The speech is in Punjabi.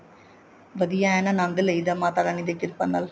ਵਧੀਆ ਐਨ ਅਨੰਦ ਲਈਦਾ ਮਾਤਾ ਰਾਣੀ ਦੀ ਕਿਰਪਾ ਨਾਲ